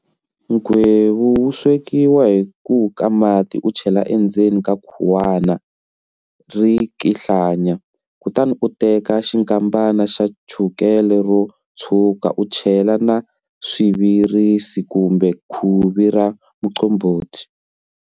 Nghwevu wu swekiwa hi ku ka mati u chela endzeni ka khuwana ri kihlanya, kutani u teka xinkambana xa chukele ro tshwuka u chela na swivirisi kumbe khuvi ra muqombhoti.